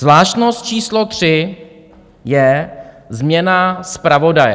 Zvláštnost číslo tři je změna zpravodaje.